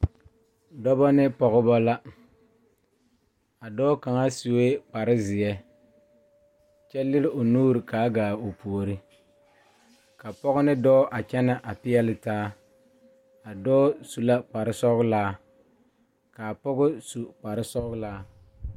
Dɔɔ ne pɔge la ka Sakubiiri a are kaa dɔɔ su kpare buluu a teɛ o nu Kyaara sakubie kpankpane a Sakubiiri mine lerɛ ba nuure kaa pɔgeba su kpare sɔglaa.